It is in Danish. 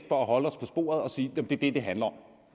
for at holde os på sporet bedst at sige at det er det det handler om